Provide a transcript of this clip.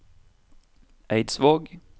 Eidsvåg